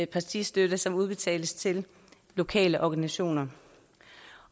partistøtte som udbetales til lokale organisationer